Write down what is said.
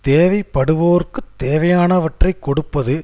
தேவை படுவோர்க்கு தேவையானவற்றை கொடுப்பது